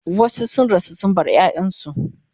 wasu sun rasu sun bar ƴaƴansu